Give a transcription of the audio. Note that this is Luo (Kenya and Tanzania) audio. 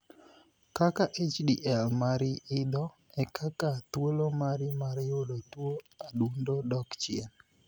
Kaka 'HDL mari idho e kaka thuolo mari mar yudo tuo adundo dok chien.